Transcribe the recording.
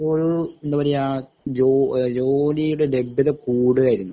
അവിടെപ്പോഴും എന്താപറയ്യാ ജോ ഏഹ് ജോലിടെ ലബ്യത കൂടുകയായിരുന്നു.